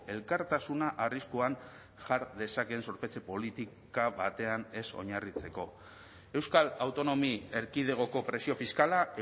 elkartasuna arriskuan jar dezakeen zorpetze politika batean ez oinarritzeko euskal autonomi erkidegoko presio fiskala